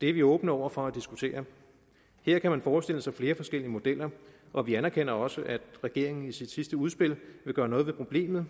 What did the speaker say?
er vi åbne over for at diskutere her kan man forestille sig flere forskellige modeller og vi anerkender også at regeringen i sit sidste udspil vil gøre noget ved problemet